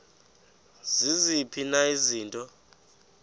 ziziphi na izinto